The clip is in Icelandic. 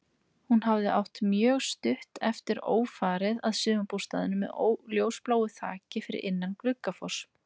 Hún hafði átt mjög stutt eftir ófarið að sumarbústað með ljósbláu þaki, fyrir innan Gluggafoss.